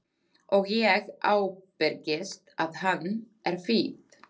Og ég ábyrgist að hann er fínn.